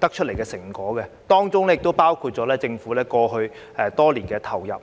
得出的成果，當中亦包括政府過去多年投放的資源。